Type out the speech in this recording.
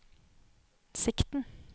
sikten